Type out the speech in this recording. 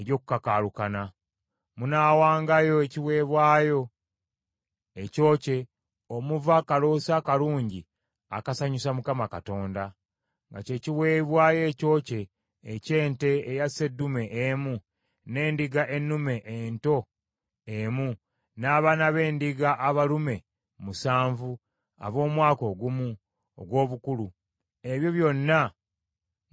Munaawangayo ekiweebwayo ekyokye omuva akaloosa akalungi akasanyusa Mukama Katonda, nga kye kiweebwayo ekyokye eky’ente eya sseddume emu, n’endiga ennume ento emu, n’abaana b’endiga abalume musanvu ab’omwaka ogumu ogw’obukulu, ebyo byonna nga tebiriiko kamogo.